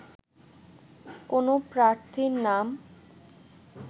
কোনো প্রার্থীর নাম